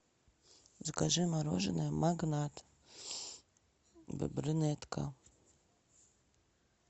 закажи мороженое магнат брюнетка